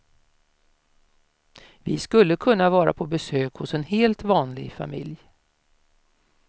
Vi skulle kunna vara på besök hos en helt vanlig familj.